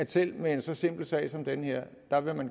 selv med en så simpel sag som det her